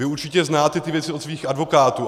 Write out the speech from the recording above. Vy určitě znáte ty věci od svých advokátů.